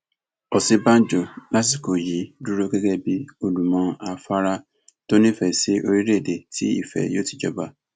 òsínbàjò lásìkò yìí dúró gẹgẹ bíi olùmọ afárá tó nífẹẹ sí orílẹèdè tí ìfẹ yóò ti jọba